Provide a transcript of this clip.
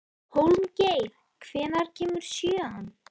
Hólmgeir, hvenær kemur sjöan?